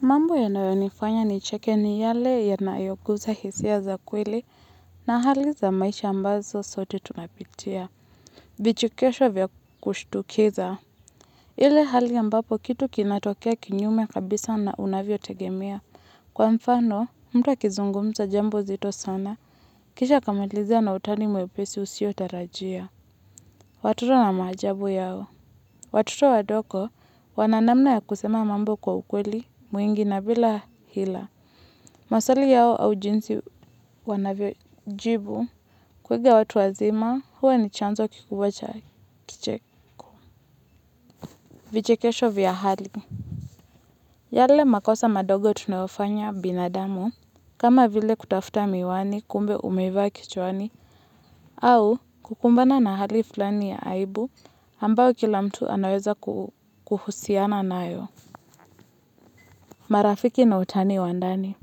Mambo yanayonifanya nicheke ni yale yanayoguza hisia za kweli na hali za maisha ambazo sote tunapitia. Vichekesho vya kushtukiza. Ile hali ambapo kitu kinatokea kinyume kabisa na unavyo tegemea. Kwa mfano, mtu akizungumza jambo zito sana, kisha kamalizia na utani mwepesi usio tarajia. Watoto wana maajabu yao. Watoto wadogo wana namna ya kusema mambo kwa ukweli, mwingi na bila hila. Maswali yao au jinsi wanavyo jibu kuiga watu wazima huwa ni chanzo kikubwa cha kicheko vichekesho vya hali. Yale makosa madogo tunayofanya binadamu kama vile kutafuta miwani kumbe umevaa kichwani au kukumbana na hali fulani ya aibu ambao kila mtu anaweza kuhusiana nayo. Marafiki na utani wa ndani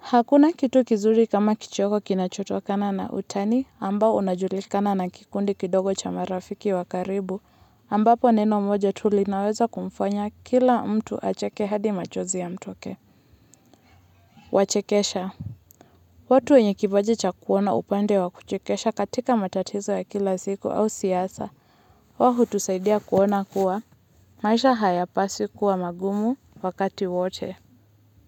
hakuna kitu kizuri kama kidogo kinachotokana na utani ambao unajulikana na kikundi kidogo cha marafiki wakaribu ambapo neno moja tu linaweza kumfanya kila mtu acheke hadi machozi yamtoke. Wachekesha watu wenye kipaji cha kuona upande wa kuchekesha katika matatizo ya kila siku au siasa. Wao hutusaidia kuona kuwa maisha hayapaswi kuwa magumu wakati wote.